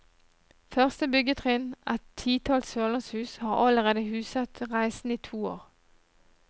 Første byggetrinn, et titalls sørlandshus, har allerede huset reisende i to år.